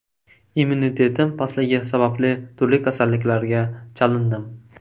Immunitetim pastligi sababli turli kasalliklarga chalindim.